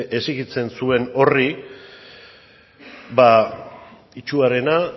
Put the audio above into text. exijitzen zuen horri ba itsuarena